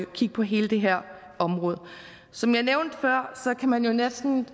kigge på hele det her område som jeg nævnte før kan man jo næsten